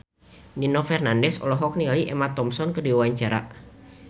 Nino Fernandez olohok ningali Emma Thompson keur diwawancara